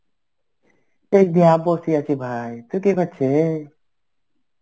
এই দেখ বসে আছি ভাই. তুই কি করছিস?